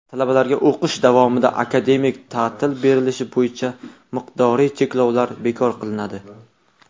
Talabalarga o‘qish davomida akademik ta’til berilishi bo‘yicha miqdoriy cheklovlar bekor qilinadi.